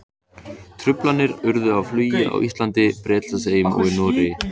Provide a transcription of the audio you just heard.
Truflanir urðu á flugi á Íslandi, Bretlandseyjum og í Noregi.